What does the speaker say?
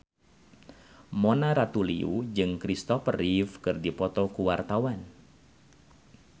Mona Ratuliu jeung Christopher Reeve keur dipoto ku wartawan